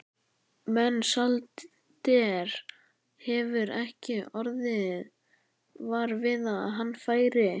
Mensalder hefur ekki orðið var við að hann færi.